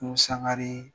N'u sangare